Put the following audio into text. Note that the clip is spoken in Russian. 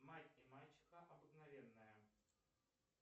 мать и мачеха обыкновенная